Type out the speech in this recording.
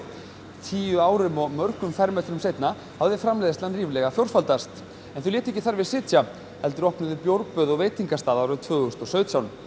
tíu árum og mörgum fermetrum seinna hafði framleiðslan ríflega fjórfaldast en þau létu ekki þar við sitja heldur opnuðu bjórböð og veitingastað árið tvö þúsund og sautján